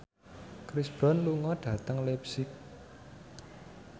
Chris Brown lunga dhateng leipzig